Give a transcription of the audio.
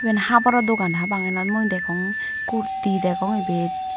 eyen haboro dogan hapang enan mui degong kurti degong ebet.